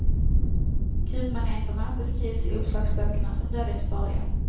Kubmaneterna beskrivs i uppslagsböckerna som dödligt farliga.